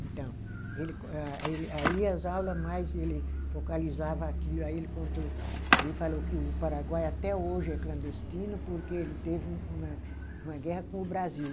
Então, ele com a, ele aí as aula mais, ele focalizava aquilo, aí ele contou, ele falou que o Paraguai até hoje é clandestino porque ele teve um uma uma guerra com o Brasil.